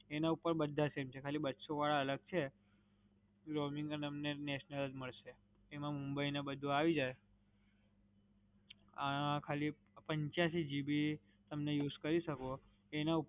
એના ઉપર બધા same છે. ખાલી બસો વાળા અલગ છે, roaming અને એ તમને national જ મડસે, એમાં મુંબઈ ને બધુ આવી જાઇ. આ ખાલી પંચયાસી GB તમે use કરી સકો, એના ઉપર